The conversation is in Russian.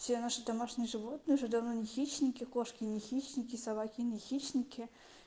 все наши домашние животные уже давно не хищники кошки не хищники собаки не хищники